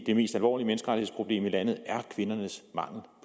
det mest alvorlige menneskerettighedsproblem i landet er kvindernes mangel